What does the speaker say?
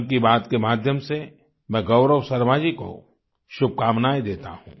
मन की बात के माध्यम से मैं गौरव शर्मा जी को शुभकामनाएं देता हूं